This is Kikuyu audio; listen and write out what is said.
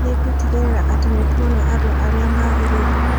Nĩngũtigĩrĩra atĩ nĩ tuona andũ arĩa magĩrĩire.